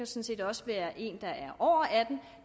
set også være en der er år er